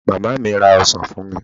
Màmá mi ra ọsán fún mi.